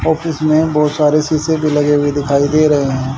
Office में बहोत सारे शीशे भी लगे हुए दिखाई दे रहे हैं।